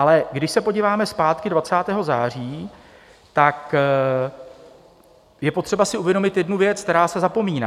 Ale když se podíváme zpátky 20. září, tak je potřeba si uvědomit jednu věc, která se zapomíná.